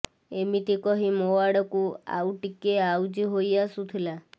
ଏମିତି କହି ମୋ ଆଡ଼କୁ ଆଉ ଟିକେ ଆଉଜି ହୋଇ ଆସୁଥିଲା